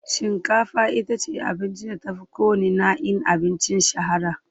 Shinkafa ita ce abincin da ta fi kowanne na'in abinci shahara.